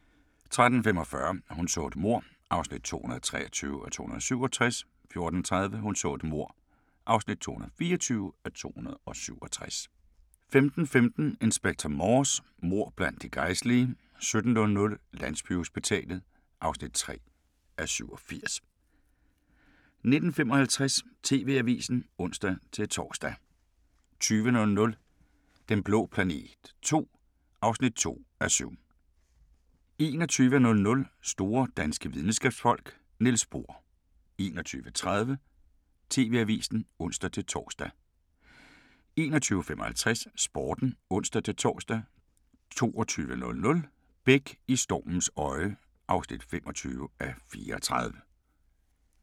13:45: Hun så et mord (223:267) 14:30: Hun så et mord (224:267) 15:15: Inspector Morse: Mord blandt de gejstlige 17:00: Landsbyhospitalet (3:87) 19:55: TV-avisen (ons-tor) 20:00: Den blå planet II (2:7) 21:00: Store danske Videnskabsfolk: Niels Bohr 21:30: TV-avisen (ons-tor) 21:55: Sporten (ons-tor) 22:00: Beck – I stormens øje (25:34)